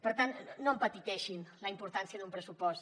per tant no empetiteixin la importància d’un pressupost